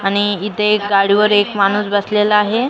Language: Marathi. आणि इथे एक गाडीवर एक माणूस बसलेला आहे.